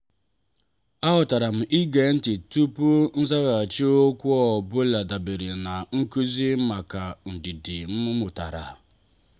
a ghotaram ige ntị tupu nzaghachi okwu ọ bụla dabere na nkụzi maka ndidi m mụtara.